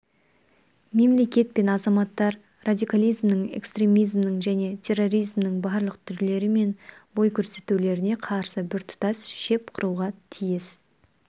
мемлекет пен азаматтар радикализмнің экстремизмнің және терроризмнің барлық түрлері мен бой көрсетулеріне қарсы біртұтас шеп құруға тиіс